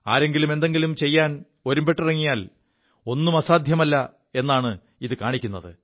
ആരെങ്കിലും എന്തെങ്കിലും ചെയ്യാൻ ഒരുമ്പെിറങ്ങിയാൽ ഒും അസാധ്യമല്ല എാണ് ഇത് കാണിക്കുത്